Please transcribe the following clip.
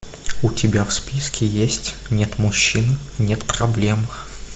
у тебя в списке есть нет мужчин нет проблем